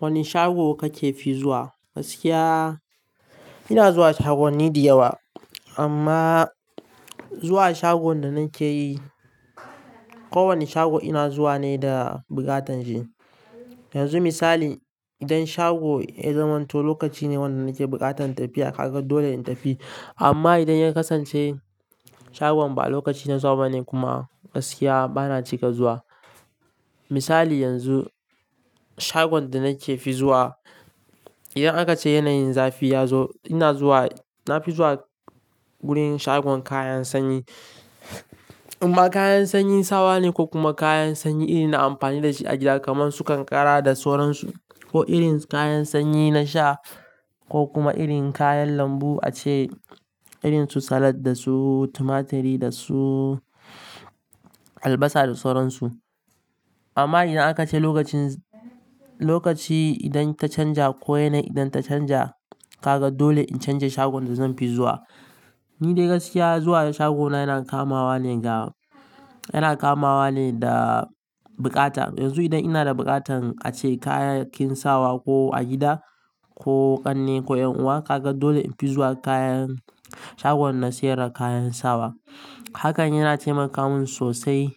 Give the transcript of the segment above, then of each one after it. Wane shago kake fi zuwa? Gaskiya, ina zuwa shagwanni da yawa amma zuwa shagon da nake yi, kowane shago ina zuwa ne da buƙatan shi. Yanzu misali, idan shago ya zamanto lokaci ne wanda nake buƙatan tafiya, kaga dole in tafi. Amma idan ya kasance shagon ba lokaci na zuwa ba ne kuma gaskiya bana cika zuwa. Misali yanzu, shagon da nake fi zuwa, idan aka ce yanayin zafi ya zo ina zuwa, na fi zuwa wurin shagon kayan sanyi. Amma kayan sanyin sawa ne ko kuma kayan sanyi irin na amfani da shi a gida kamar su kankara da sauransu, ko irin kayan sanyi na sha ko kuma irin kayan lambu ace irin su salad da su tumaturi da su albasa da sauransu. Amma idan aka ce lokacin, lokaci idan ta canja ko yanayi idan ta canja, kaga dole in canja shagon da zan fi zuwa. Ni dai gaskiya zuwa shagona yana kamawa ne ga, yana kamawa ne da bukata. Yanzu idan ina da buƙatan a ce kayan kin sawa ko a gida ko ƙanne ko ƴan uwa, kaga dole in fi zuwa kayan, shagon na sayar da kayan sawa. Hakan yana taimaka min sosai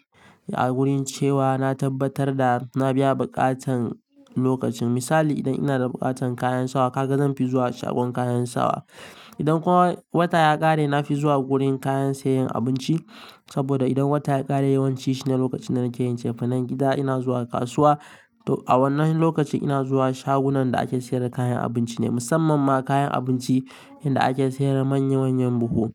a wurin cewa na tabbatar da na biya buƙatan lokacin. Misali idan ina da buƙatan kayan sawa, kaga zan fi zuwa shagon kayan sawa. Idan kuwa wata ya ƙare na fi zuwa wurin kayan sayayen abinci saboda idan wata ya ƙare yawanci shi ne lokacin da nake yin cefanen gida. Ina zuwa kasuwa. A wannan lokacin ina zuwa shagunan da ake sayar da kayan abinci ne musamman ma kayan abinci inda ake sayar da manya manyan buhu.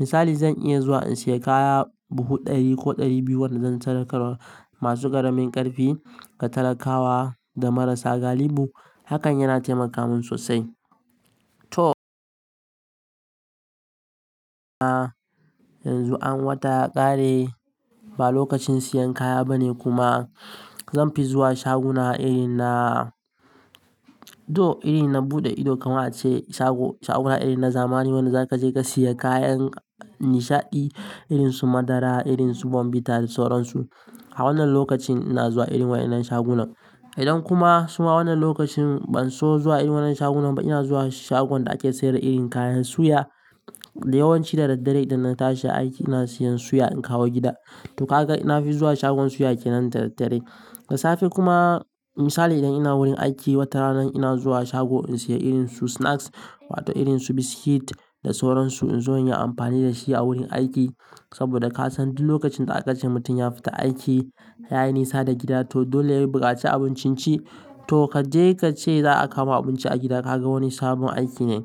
Misali zan iya zuwa in sayi kaya buhu ɗari ko ɗari biyu wanda zan sadakarwa masu ƙaramin ƙarfi, ga talakawa da marasa galihu. Hakan yana taimaka min sosai. To yanzu an wata ya ƙare ba lokacin siyan kaya ba ne kuma zan fi zuwa shaguna irin na, to iri na buɗe ido kaman ace shago, shaguna irin na zamani wanda zaka je ka sayi kayan nishaɗi irin su madara, irin su bombita da sauransu. A wannan lokacin ina zuwa irin wayannan shagunan. Idan kuma suma wannan lokacin ban so zuwa irin wannan shagunan ba ina zuwa shagon da ake sayar da irin kayan suya. Yawanci da daddare idan na tashi aiki ina siyan suya in kawo gida. To kaga ina fi zuwa shagon suya kenan da daddare. Da safe kuma misali idan ina wurin aiki wata rana ina zuwa shago in sayi irin su snacks wato irin su biskit da sauransu in zo in yi amfani da shi a wurin aiki. Saboda ka san duk lokacin da aka ce mutum ya fita aiki ya yi nisa da gida to dole ya yi buƙaci abincin ci. To ka je ka ce za a kawo abinci a gida kaga wani sabon aiki ne.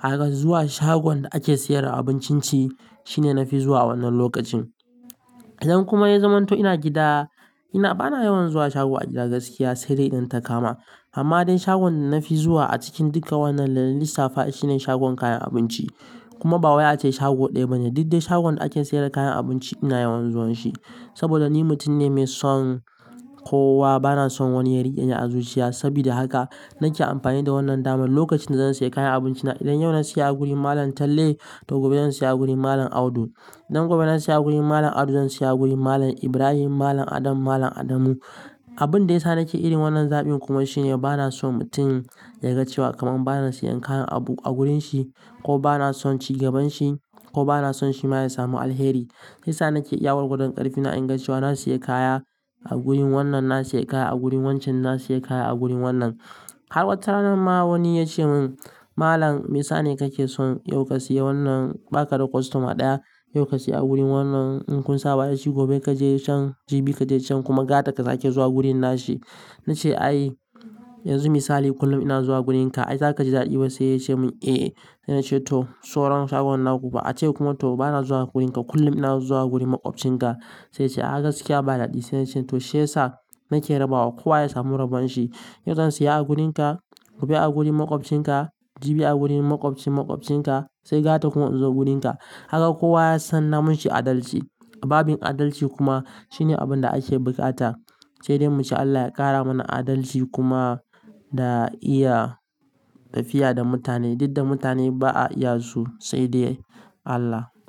Kaga zuwa shagon da ake sayar da abincin ci shine na fi zuwa wannan lokacin. Idan kuma ya zamanto ina gida ina bana yawan zuwa shago a gida gaskiya sai dai idan ta kama. Amma dai shagon da na fi zuwa a cikin duka wannan da lissa fa shi ne shagon kayan abinci. Kuma ba wai ace shago ɗaya bane duk dai shagon da ake sayar da kayan abinci ina yawan zuwan shi. Saboda ni mutum ne mai son kowa bana son wani ya riƙe ni azuciya. Saboda haka nake amfani da wannan damar. Lokacin da zan sayi kayan abinci na idan yau na siya a gurin Malam Talle to gobe zan siya a gurin Malam Audu. Idan gobe na siya a gurin Malam Audu zan siya a gurin Malam Ibrahim, Malam Adam, Malam Adamu. Abun da ya sa nake irin wannan zaɓin kuma shi ne bana son mutum ya ga cewa kamar bana siyan kayan abu a wurin shi ko bana son ci gaban shi ko bana son shi ma ya samu alheri. Shi sa nake iya gwar gwadon ƙarfi na in ga cewa na siya kaya a gurin wannan, na siya kaya a gurin wancan, na siya kaya a gurin wannan. Har wata rana ma wani ya ce mun, "Malam me sane kake son yau ka siya wannan ba ka da kostoma ɗaya, yau ka siya a gurin wannan. In kun saba da shi gobe kaje can, jibi kaje can kuma gata ka sake zuwa wurin nashi." Na ce ai yanzu misali kullum ina zuwa wurin ka. Ai zaka ji dadi ba sai ya ce mun eh. Se na ce to sauran shagunan na kuba. Ace kuma to bana zuwa gurin ka kullum ina zuwa gurin maƙwabcin ka. Sai ce ah haka ciki ba daɗi sai na ce to shi yasa nake rabawa kowa ya samu rabon shi. Yau zan siya a gurin ka gobe a gurin maƙwabcin ka jibi a gurin maƙwabcin maƙwabcin ka sai gata kuma in zo gurin ka. Kaga kowa ya san namishi adalci. Babin adalci kuma shi ne abun da ake bukata. Sai dai muce Allah ya ƙara mana adalci kuma da iya tafiya da mutane. Duk da mutane ba a iya su sai dai Allah.